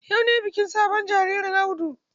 Yau ne bikin sunan sabon jaririn Audu?